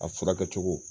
A furakɛ cogo